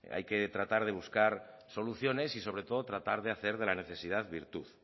hay que tratar de buscar soluciones y sobre todo tratar de hacer de la necesidad virtud